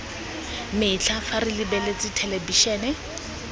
metlha fa re lebeletse thelebišene